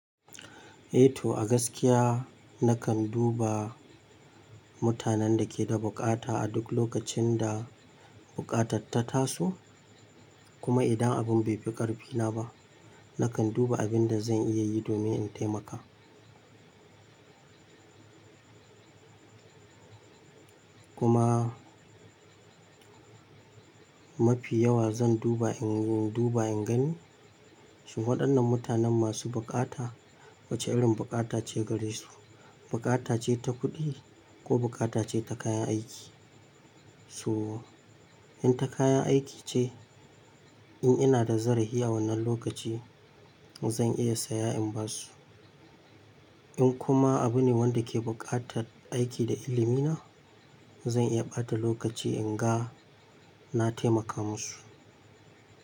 Eh to a gaskiya nakan duba mutanen da ke da bukata a duk lokacin da bukatarta taso. Kuma idan abin bai fi ƙarfina ba, nakan duba abin da zan iya yi domin in taimaka. Kuma mafi yawa zan duba, in duba in gani shi waɗannan mutanen masu bukata wace irin bukata ce gare su. Bukata ce ta kuɗi ko bukata ce ta kayan aiki. So in ta kayan aiki ce, in ina da zarafi a wannan lokaci zan iya saya in ba su. In kuma abu ne wanda ke buƙatar aiki da ilimi na, zan iya ɓata lokaci in ga na taimaka musu.